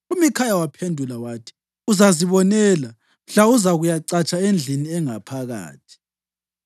UMikhaya waphendula wathi, “Uzazibonela mhla uzakuyacatsha endlini engaphakathi.”